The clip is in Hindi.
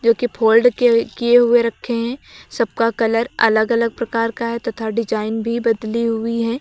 के फोल्ड किए हुए रखे हैं सबका कलर अलग अलग प्रकार का है तथा डिजाइन भी बदली हुई है।